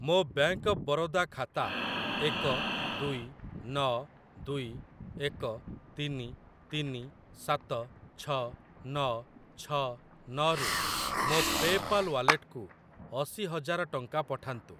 ମୋ bank of Baroda ଖାତା ଏକ ଦୁଇ ନ ଦୁଇ ଏକ ତିନି ତିନି ସାତ ଛ ନ ଛ ନ ରୁ ମୋ ପେ ପାଲ୍ ୱାଲେଟକୁ ଅଶି ହଜାର ଟଙ୍କା ପଠାନ୍ତୁ।